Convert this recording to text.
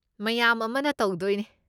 ꯃꯌꯥꯝ ꯑꯃꯅ ꯇꯧꯗꯣꯏꯅꯦ꯫